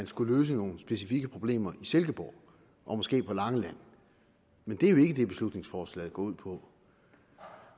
skulle løses nogle specifikke problemer i silkeborg og måske på langeland men det er jo ikke det beslutningsforslaget går ud på